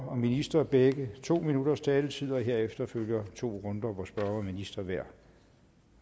og minister begge to minutters taletid og herefter følger to runder hvor spørger og minister hver